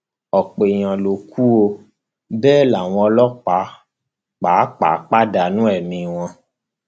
ọpọ èèyàn ló kù ọ bẹẹ làwọn ọlọpàá pàápàá pàdánù ẹmí wọn